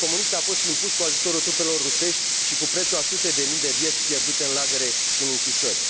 a fost impus cu ajutorul trupelor rusești și cu prețul a sute de mii de vieți pierdute în lagăre și în închisori.